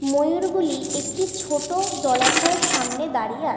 মহূর গুলি একটি ছোট জলাশয় দাঁড়িয়ে আছে।